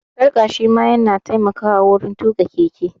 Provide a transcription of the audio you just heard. Sarƙa shi ma ya na taimakawa wurin tuƙa keke